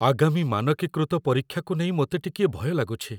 ଆଗାମୀ ମାନକୀକୃତ ପରୀକ୍ଷାକୁ ନେଇ ମୋତେ ଟିକିଏ ଭୟ ଲାଗୁଛି।